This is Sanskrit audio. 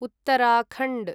उत्तराखण्ड्